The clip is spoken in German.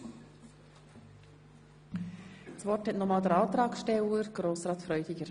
Das Wort hat nochmals der Antragsteller Grossrat Freudiger.